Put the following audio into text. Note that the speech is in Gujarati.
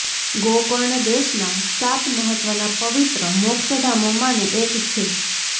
ગોકર્ણ દેશનાં સાત મહત્ત્વનાં પવિત્ર મોક્ષધામોમાંનું એક છે